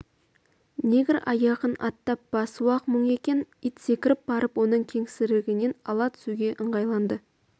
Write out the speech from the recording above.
нег аяғын аттап басуы-ақ мұң екен ит секіріп барып оның кеңсірігінен ала түсуге ыңғайланды